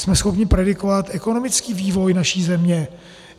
Jsme schopni predikovat ekonomický vývoj naší země?